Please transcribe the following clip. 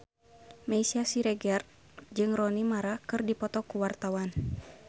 Meisya Siregar jeung Rooney Mara keur dipoto ku wartawan